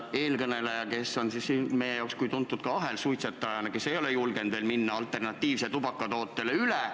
Eelkõneleja on meie jaoks olnud tuntud kui ahelsuitsetaja, kes ei ole julgenud minna alternatiivsele tubakatootele üle.